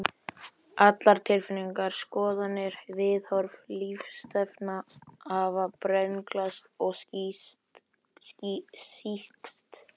Allar tilfinningar, skoðanir, viðhorf, lífsstefna hafa brenglast og sýkst.